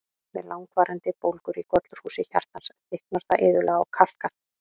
Við langvarandi bólgur í gollurhúsi hjartans, þykknar það iðulega og kalkar.